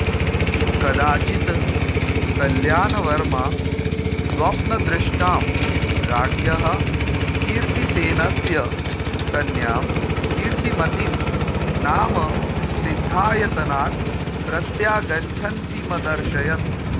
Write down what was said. कदाचित् कल्याणवर्मा स्वप्नदृष्टां राज्ञः कीतिसेनस्य कन्यां कीर्तिमतीं नाम सिद्धायतनात् प्रत्यागच्छन्तीमदर्शत्